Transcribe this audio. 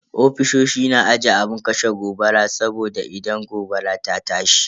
Ofisoshi na aje abun kashe gobara saboda idan gobara ta tashi.